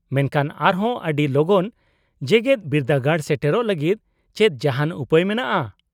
-ᱢᱮᱱᱠᱷᱟᱱ ᱟᱨᱦᱚᱸ ᱟᱹᱰᱤ ᱞᱚᱜᱚᱱ ᱡᱮᱜᱮᱫ ᱵᱤᱨᱫᱟᱹᱜᱟᱲ ᱥᱮᱴᱮᱨᱚᱜ ᱞᱟᱹᱜᱤᱫ ᱪᱮᱫ ᱡᱟᱦᱟᱱ ᱩᱯᱟᱹᱭ ᱢᱮᱱᱟᱜᱼᱟ ?